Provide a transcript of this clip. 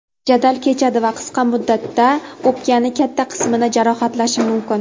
jadal kechadi va qisqa muddatda o‘pkani katta qismini jarohatlashi mumkin.